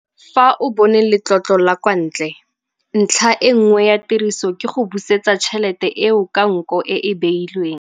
Fa o bone letlotlo la kwa ntle, ntlha e nngwe ya tiriso ke go busetsa tšhelete eo ka nko e e beilweng.